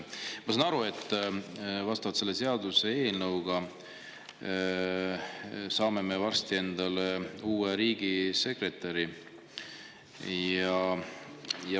Ma saan aru, et vastavalt sellele seaduseelnõule saame me varsti endale uue riigisekretäri.